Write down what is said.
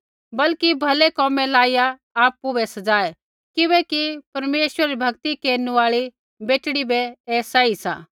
बल्कि भलै कोमै लाइया आपु बै सज़ाऐ किबैकि परमेश्वरै री भक्ति केरनु आल़ी बेटड़ी बै ऐ सही सा